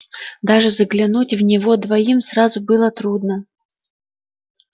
даже заглянуть в него двоим сразу было трудно